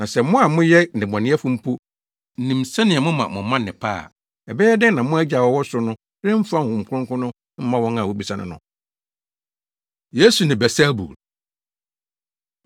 Na sɛ mo a moyɛ nnebɔneyɛfo mpo nim sɛnea moma mo mma nnepa a, ɛbɛyɛ dɛn na mo Agya a ɔwɔ ɔsoro no remfa Honhom Kronkron no mma wɔn a wobisa no no?” Yesu Ne Beelsebul